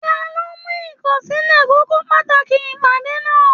Taló mu ikọsilẹ kókó pàtàkì ìpàdé náà?